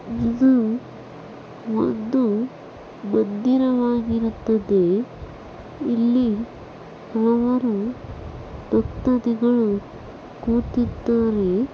ಇದು ಒಂದು ಮಂದಿರವಾಗಿರುತ್ತದೆ. ಇಲ್ಲಿ ಭಕ್ತದಾದಿಗಳು ಕುತ್ತಿದ್ದಾರೆ.